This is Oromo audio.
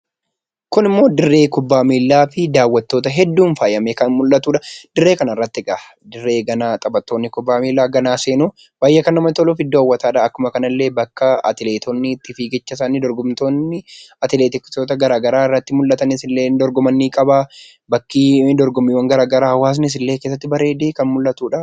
Kun immoo dirree kubbaa miilaati. Daawwattoota hedduun faayamee kan mul'atudha. Dirree kana irratti dirree ganaa taphattoonni kubbaa miilaa booda seenuu, baayyee kan namatti toluu fi iddoo hawwataadha akkasuma kana illee bakka atileetonni fiigicha isaanii dorgomtoonni atileetiksoota garaagaraa irratti mul'atanii dorgoman ni qabaa, bakki dorgommiiwwan garaagaraa hawaasnis illee achi keessatti bareedee kan mul'atudha.